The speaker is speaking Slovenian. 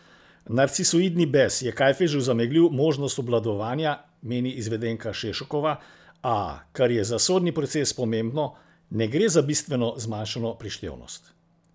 Narcisoidni bes je Kajfežu zameglil možnost obvladovanja, meni izvedenka Šešokova, a, kar je za sodni proces pomembno, ne gre za bistveno zmanjšano prištevnost.